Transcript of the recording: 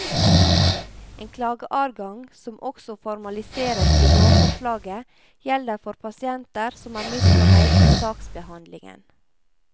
En klageadgang som også formaliseres i lovforslaget gjelder for pasienter som er misfornøyd med saksbehandlingen.